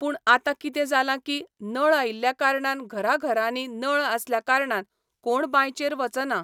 पूण आतां कितें जालां की, नळ आयिल्ल्या कारणान घरा घरांनी नळ आसल्या कारणान कोण बांयचेर वचना.